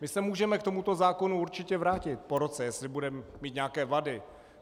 My se můžeme k tomuto zákonu určitě vrátit po roce, jestli bude mít nějaké vady.